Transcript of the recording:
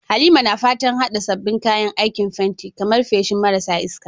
Halima na fatan haɗa sabbin kayan aikin fenti, kamar feshi marasa iska,